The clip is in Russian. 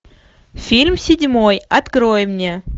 фильм седьмой открой мне